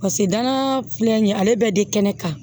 Paseke danaya filɛ nin ye ale bɛɛ de kɛnɛ kan